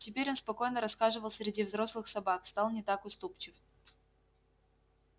теперь он спокойно расхаживал среди взрослых собак стал не так уступчив